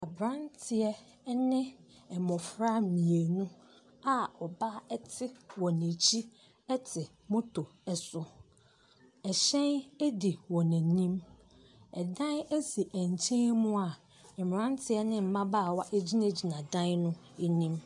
Abranteɛ ɛne mmofra mmienu a ɔbaa ɛte wɔn akyi ɛte motor ɛso. Ɛhyɛn adi wɔn anim, dan si nkyɛn mu a mmranteɛ ne mmabaawa agyina gyina dan no anim.